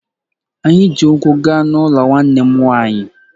Anyị ji ụkwụ gaa n’ụlọ nwanne m nwanyị